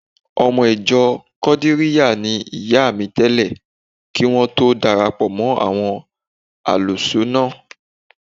Ọmọ ìjọ Kọ̀dìríyà ni ìyá mi tẹ́lẹ̀ kí wọ́n tó lọ darapọ̀ mọ́ àwọn Álùsúúnà